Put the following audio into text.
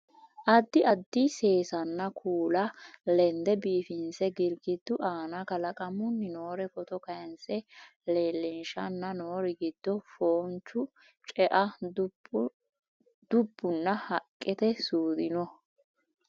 addi addi seesanna kuula lende biifinse girigiddu aana kalaqamunni noore footo kayiinse leellinshanna noori giddo foonchu, ce"e dubbunna haqqete suudi no